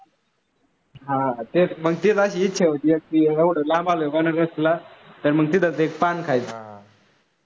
हां, तेच मग तेच इच्छा होती, एवढं लांब आलो म्हणून म्हटलं तर मग तिथंच एक पान खायचं.